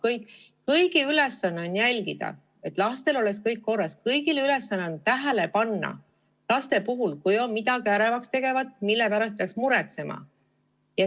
Nende kõigi ülesanne on jälgida, et lastel oleks kõik korras, kõigi ülesanne on panna laste puhul tähele, kas on midagi ärevaks tegevat, mille pärast peaks muretsema.